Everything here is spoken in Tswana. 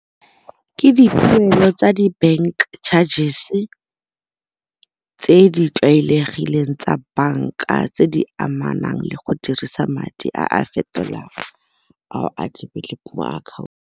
Ke tsa di-bank charges tse di tlwaelegileng tsa banka tse di amanang le go dirisa madi a a fetolang a o a adimileng mo .